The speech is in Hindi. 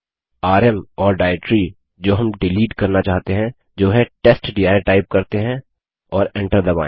आरएम और डाइरेक्टरी जो हम डिलीट करना चाहते हैं जो है टेस्टडिर टाइप करते हैं और एन्टर दबायें